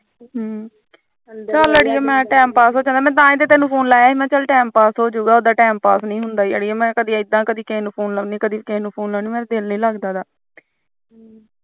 ਚਲ ਅੜੀਏ ਮੈਂ time pass ਹੋਜੂੰਗਾ ਉਦਾ time pass ਨੀ ਹੁੰਦਾ ਅੜੀਏ ਮੈਂ ਇਦਾ ਕਿਸੇ ਨੂੰ ਫੂਨ ਲਾਉਂਦੀ ਕਦੇ ਕਿਸੇ ਨੂੰ ਫੂਨ ਲਾਉਂਦੀ ਮੇਰਾ ਦਿਲ ਨੀ ਲਗਾਦਾ